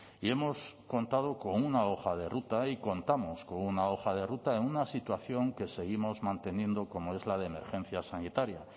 y hemos contado con una hoja de ruta y contamos con una hoja de ruta en una situación que seguimos manteniendo como es la de emergencia sanitaria